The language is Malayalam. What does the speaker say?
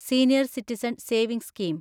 senior citizen savings scheme